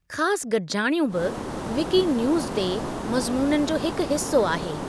ख़ासि गडि॒जाणियूं बि विकीन्यूज़ ते मज़मूननि जो हिकु हिस्सो आहे।